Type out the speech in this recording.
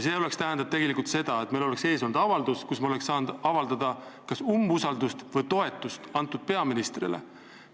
See oleks tähendanud seda, et meie ees oleks olnud avaldus ja me oleks saanud avaldada kas umbusaldust või toetust sellele peaministrile.